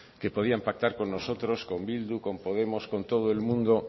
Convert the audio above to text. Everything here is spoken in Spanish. que podían pactar con nosotros con bildu con podemos con todo el mundo